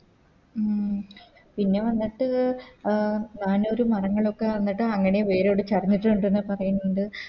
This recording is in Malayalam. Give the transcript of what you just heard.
ആ പിന്നെ വന്നിട്ട് അഹ് നാനൂറ് മരങ്ങളൊക്ക വന്നിട്ട് അങ്ങനെ വേരോടെ ചരഞ്ഞിട്ടുണ്ട് ന്ന പറയുന്നത്